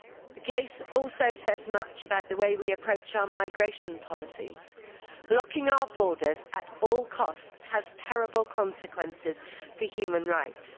The case also says much about the way we approach our migration policies. Locking our borders at all costs has terrible consequences for human rights.